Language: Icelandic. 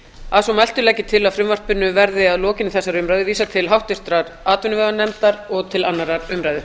að svo mæltu legg ég til að frumvarpinu verði að lokinni þessari umræðu vísað til háttvirtrar atvinnuveganefndar og til annarrar umræðu